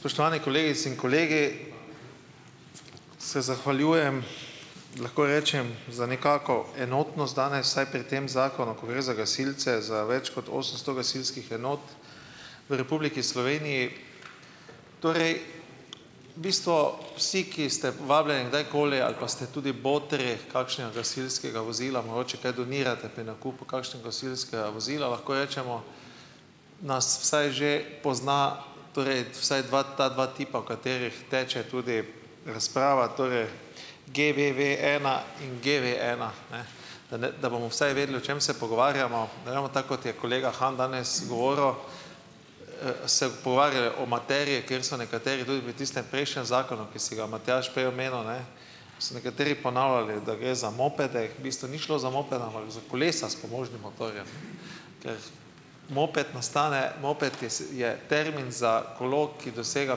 Spoštovane kolegice in kolegi, se zahvaljujem, lahko rečem za nekako enotnost danes, vsaj pri tem zakonu, ko gre za gasilce za več kot osemsto gasilskih enot v Republiki Sloveniji. Torej bistvo, vsi, ki ste vabljeni kdajkoli ali pa ste tudi botri kakšnega gasilskega vozila, mogoče kaj donirate pri nakupu kakšnega gasilskega vozila, lahko rečemo, nas vsaj že pozna, torej vsaj dva ta dva tipa, o katerih teče tudi razprava. Torej GVVena in GVena, ne, da ne da bomo vsaj vedeli, o čem se pogovarjamo, da ne bomo tako, kot je kolega Han danes govoril, se pogovarjali o materiji, kjer so nekateri drugi pri tistem prejšnjem zakonu, ki si ga Matjaž prej omenil, ne. So nekateri ponavljali, da gre za mopede. V bistvu ni šlo za mopede, ampak za kolesa s pomožnim motorjem. Ker moped nastane moped, je je termin za kolo, ki dosega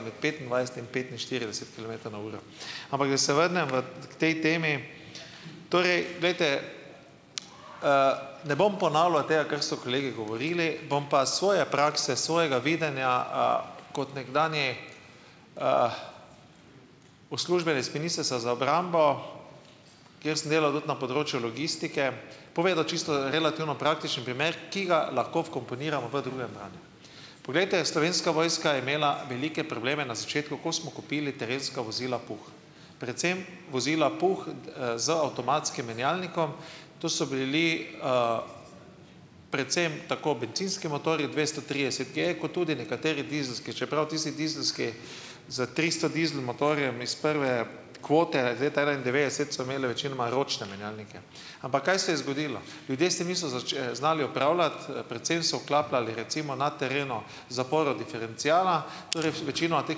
med petindvajset in petinštirideset kilometrov na uro. Ampak da se vrnem v k tej temi. Torej, glejte, ne bom ponavljal tega, kar so kolegi govorili, bom pa svoje prakse svojega videnja, kot nekdanji, uslužbenec Ministrstva za obrambo, kjer sem delal tudi na področju logistike - povedal čisto relativno praktično primer, ki ga lahko vkomponiramo v drugem branju. Poglejte, Slovenska vojska je imela velike probleme na začetku, ko smo kupili terenska vozila Puh, predvsem vozila Puh, z avtomatskim menjalnikom ... To so bili, predvsem tako bencinski motorji dvesto trideset. Kje, kot tudi nekateri dizelski, čeprav tisti dizelski z tristo dizel motorjem iz prve kvote, iz leta enaindevetdeset, so imele večinoma ročne menjalnike. Ampak kaj se je zgodilo? Ljudje si niso znali upravljati. predvsem so vklapljali recimo na terenu zaporo diferenciala, torej večinoma teh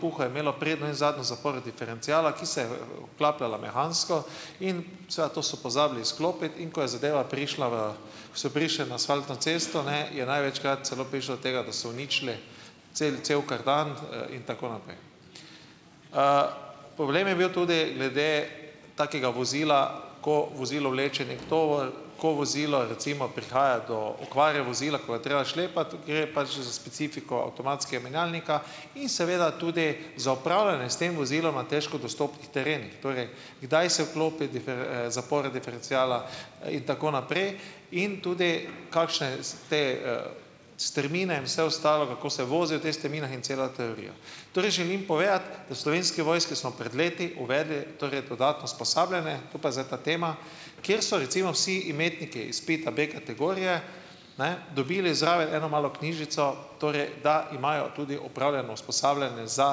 Puhov je imelo prednjo in zadnjo zaporo diferenciala, ki se, vklapljala mehansko in seveda to so pozabili izklopiti, in ko je zadeva prišla v, ko so prišli na asfaltno cesto, ne, je največkrat celo prišlo do tega, da so uničili cel cel kartan, in tako naprej. Problem je bil tudi glede takega vozila, ko vozilo vleče neki tovor, ko vozilo recimo prihaja do okvare vozila, ko je treba šlepati, gre pač za specifiko avtomatskega menjalnika in seveda tudi za opravljanje s tem vozilom na težko dostopnih terenih. Torej, kdaj se vklopi zapora diferenciala, in tako naprej in tudi kakšne te, strmine in vse ostalo, kako se vozijo v teh strminah in cela teorija. Torej želim povedati, da v Slovenski vojski smo pred leti uvedli torej dodatno usposabljanje - tu pa je zdaj ta tema, kjer so recimo vsi imetniki izpita B-kategorije, ne, dobili zraven eno malo knjižico, torej, da imajo tudi opravljeno usposabljanje za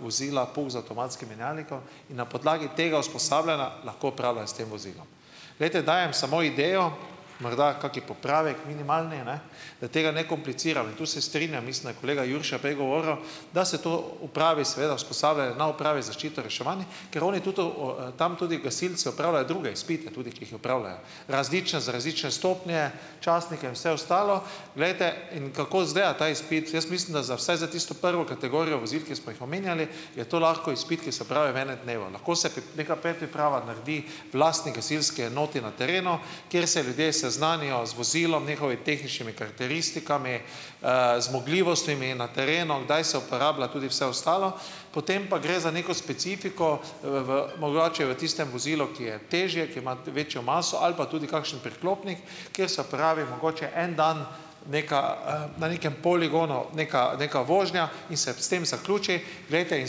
vozila Puh z avtomatskim menjalnikom in na podlagi tega usposabljanja lahko opravljajo s tem vozilom. Glejte, dajem samo idejo, morda kakšen popravek minimalni, ne, da tega ne kompliciram in tu se strinjam - mislim, da je kolega Jurša prej govoril, da se to upravi, seveda usposabljanje na upravi za zaščito in reševanje, ker oni tudi tam tudi gasilci opravljajo druge izpite, tudi, ki jih opravljajo - različne za različne stopnje, častnike in vse ostalo. Glejte, in kako izgleda ta izpit. Jaz mislim, da za vsaj za tisto prvo kategorijo vozil, ki smo jih omenjali, je to lahko izpit, ki se opravi v enem dnevu. Lahko se neka predpriprava naredi v lastni gasilski enoti na terenu, kjer se ljudje seznanijo z vozilom, njihovim tehničnimi karakteristikami, zmogljivostmi na terenu, kdaj se uporablja tudi vse ostalo, potem pa gre za neko specifiko v v mogoče v tistem vozilu, ki je težje, ki ima večjo maso ali pa tudi kakšen priklopnik, kjer se opravi mogoče en dan neka na nekem poligonu neka neka vožnja in se s tem zaključi. Glejte, in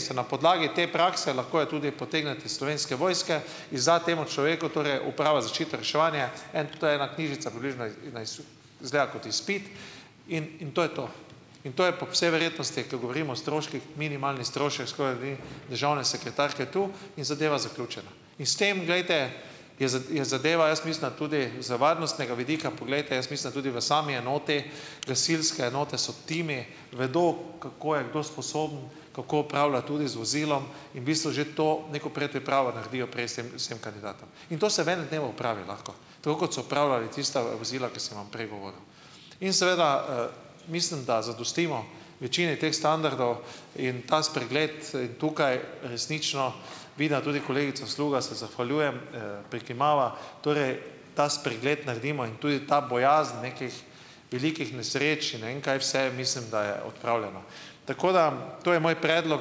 se na podlagi te prakse, lahko jo tudi potegnete iz Slovenske vojske, izda temu človeku, torej Uprava za zaščito in reševanje en - to je ena knjižica približno na izgleda kot izpit in in to je to. In to je po vsej verjetnosti, ko govorim o stroških, minimalni strošek, škoda da ni državne sekretarke tu, in zadeva zaključena. In s tem, glejte, je je zadeva, jaz mislim, da tudi z varnostnega vidika poglejte, jaz mislim, da tudi v sami enoti, gasilske enote so timi, vedo, kako je kdo sposoben, kako opravlja tudi z vozilom in v bistvu že to, neko predpripravo naredijo prej s tem kandidatom. In to se v enem dnevu opravi lahko. Tako, kot so opravljali tista vozila, ki sem vam prej govoril. In seveda, mislim, da zadostimo večini teh standardov in ta spregled tukaj resnično, vidim, da tudi kolegica Sluga, se zahvaljujem, prikimava, torej ta spregled naredimo in tudi ta bojazen nekih velikih nesreč in ne vem kaj vse mislim, da je odpravljena. Tako, da to je moj predlog,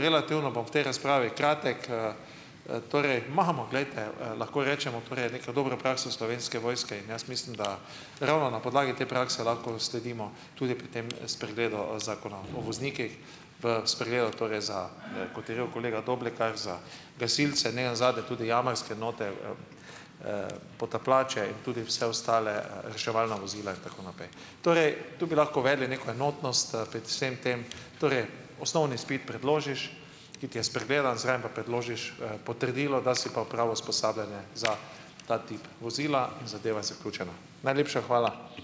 relativno bom v tej razpravi kratek. Torej imamo, glejte, lahko rečemo, torej neka dobra praksa Slovenske vojske in jaz mislim, da ravno na podlagi te prakse lahko sledimo tudi pri tem spregledu zakona o voznikih v spregledu torej za, kot je rekel kolega Doblekar, za gasilce, ne nazadnje tudi jamarske enote. potapljače in tudi vse ostale, reševalna vozila, in tako naprej. Torej tu bi lahko uvedli neko enotnost, pred vsem tem, torej osnovni izpit predložiš, ki ti je spregledan, zraven pa predložiš, potrdilo, da si pa opravo usposabljanje za ta tip vozila in zadeva je zaključena. Najlepša hvala.